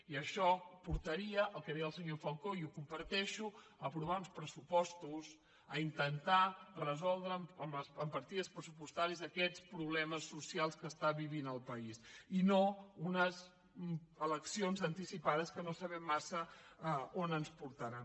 i això portaria al que deia el senyor falcó i ho comparteixo a aprovar uns pressupostos a intentar resoldre amb partides pressupostàries aquests problemes socials que està vivint el país i no unes eleccions anticipades que no sabem massa on ens portaran